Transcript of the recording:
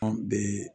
An bɛ